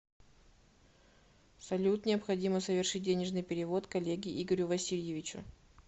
салют необходимо совершить денежный перевод коллеге игорю васильевичу